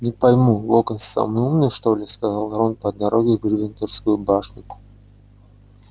не пойму локонс самый умный что ли сказал рон по дороге в гриффиндорскую башню